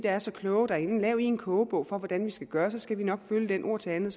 er så kloge lav i en kogebog for hvordan vi skal gøre så skal vi nok følge den ord til andet